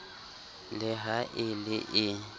le ha e le e